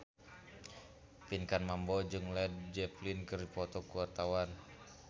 Pinkan Mambo jeung Led Zeppelin keur dipoto ku wartawan